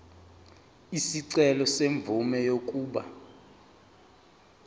isicelo semvume yokuba